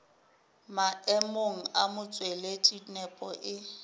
maemong a motšweletši nepo e